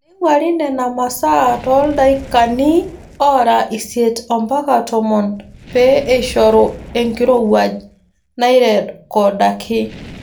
Neing'wari Nena masaa tooldaikani oora isiet mpaka tomon pee eishoru enkirowuaj nairrekodaki.